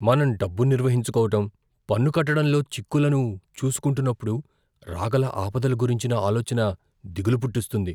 మనం డబ్బు నిర్వహించుకోవటం, పన్నుకట్టటంలో చిక్కులను చూసుకుంటున్నప్పుడు రాగల ఆపదల గురించిన ఆలోచన దిగులు పుట్టిస్తుంది.